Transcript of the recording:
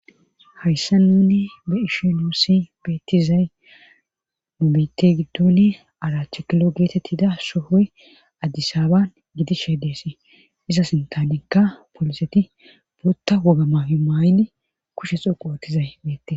Haysan nuuni be7ishe nuusi beettizay nu biite gidoni arat kilo geetettida sohoy addisaaban gidishe deesi iza sinthanikka poliseti wotta woga mayo mayidi kushe xoqqu oothizay beettes.